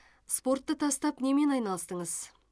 спортты тастап немен айналыстыңыз